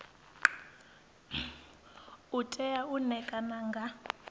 u tea u ṋekana nga